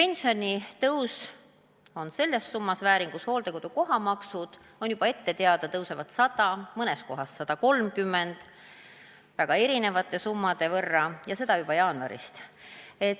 Seevastu on teada, et hooldekodukoha tasu suureneb 100 eurot, mõnes kohas 130 eurot – summad on väga erinevad – ja seda juba jaanuarist.